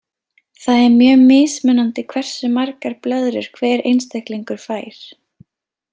Það er mjög mismunandi hversu margar blöðrur hver einstaklingur fær.